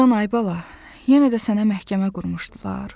Can ay bala, yenə də sənə məhkəmə qurmuşdular?